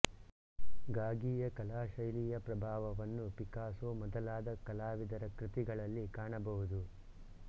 ಗಾಗಿಯ ಕಲಾಶೈಲಿಯ ಪ್ರಭಾವವನ್ನು ಪಿಕಾಸೊ ಮೊದಲಾದ ಕಲಾವಿದರ ಕೃತಿಗಳಲ್ಲಿ ಕಾಣಬಹುದು